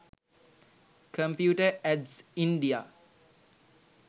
computer ads india